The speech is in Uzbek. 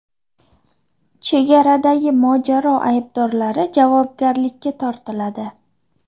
Chegaradagi mojaro aybdorlari javobgarlikka tortiladi.